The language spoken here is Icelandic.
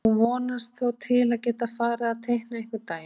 Hún vonist þó til að geta farið að teikna einhvern daginn.